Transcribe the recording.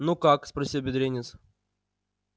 ну как спросил бедренец